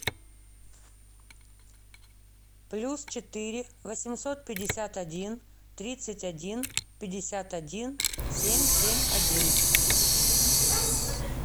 плюс четыре восемьсот пятьдесят один тридцать один пятьдесят один семь семь один